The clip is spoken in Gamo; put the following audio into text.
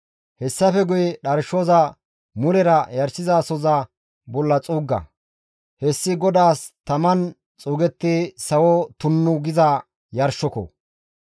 Hessafe guye dharshoza mulera yarshizasohoza bolla xuugga; hessi GODAAS taman xuugettiza sawo tunnu giza yarshoko.